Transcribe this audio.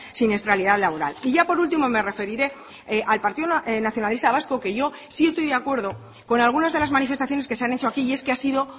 siniestralidad laboral y ya por ultimo me referiré al partido nacionalista vasco que yo sí estoy de acuerdo con algunas de las manifestaciones que se han hecho aquí y es que ha sido